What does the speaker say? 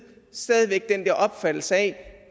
stadig væk den opfattelse at